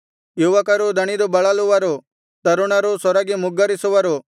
ಯುವಕರೂ ದಣಿದು ಬಳಲುವರು ತರುಣರೂ ಸೊರಗಿ ಮುಗ್ಗರಿಸುವರು